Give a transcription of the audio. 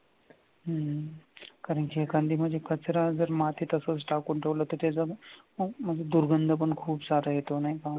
हम्म कारण की या कचरा जर मातीत असाच टाकून ठेवल्या तर त्याच्या म्हणजे दुर्गंध पण खूप सारा येतो नाही का?